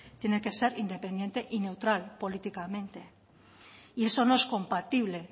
tiene que ser independiente y neutral políticamente y eso no es compatible